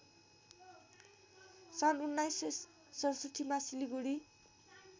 सन् १९६७ मा सिलिगुढी